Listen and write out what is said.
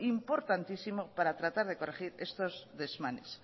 importantísimo para tratar de corregir estos desmanes